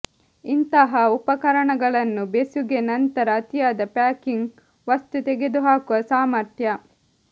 ಇಂತಹ ಉಪಕರಣಗಳನ್ನು ಬೆಸುಗೆ ನಂತರ ಅತಿಯಾದ ಪ್ಯಾಕಿಂಗ್ ವಸ್ತು ತೆಗೆದುಹಾಕುವ ಸಾಮರ್ಥ್ಯ